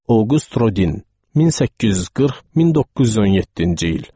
Oqüsty Rodin, 1840-1917-ci il.